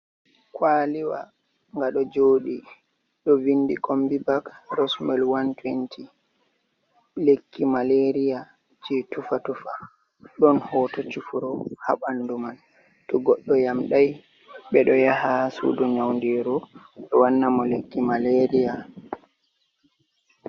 Kwaliwa nga ɗo joɗi, ɗo vindi kombi bak rosmil 120 lekki malaria je tufu tufa ɗon hoto cufuro ha ɓandu mal, to goɗɗo yamɗai ɓe ɗo yaha sudu nyaun diru be wannamo lekki malaria.